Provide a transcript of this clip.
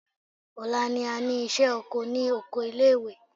Ọ̀la ni a ní ìṣẹ́ oko ní oko ilé ìwé.